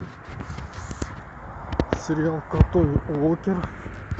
сериал крутой уокер